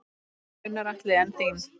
Gunnar Atli: En þín?